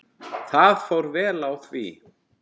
Það fór vel á því.